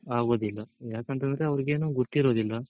ಆಗೋದಿಲ್ಲ ಯಾಕಂತೇಳಿದ್ರೆ ಅವ್ರ್ಗೆನು ಗೊತ್ತಿರೋದಿಲ್ಲ